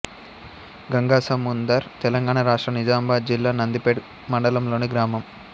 గంగాసముందర్ తెలంగాణ రాష్ట్రం నిజామాబాద్ జిల్లా నందిపేట్ మండలంలోని గ్రామం